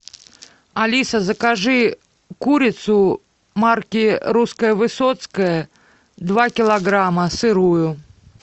алиса закажи курицу марки русская высоцкая два килограмма сырую